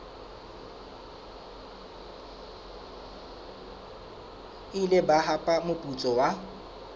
ile ba hapa moputso wa